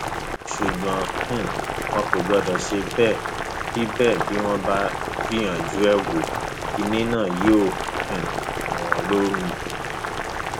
ṣùgbọn um wọn kò gbọdọ ṣe bẹẹ bí bẹẹ bí wọn bá gbìyànjú ẹ wò kinní náà yóò um mu wọn lómi